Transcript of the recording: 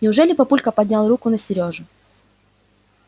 неужели папулька поднял руку на серёжу